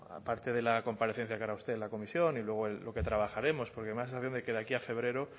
aparte de la comparecencia que hará usted en la comisión y luego lo que trabajaremos porque me da la sensación de que de aquí a febrero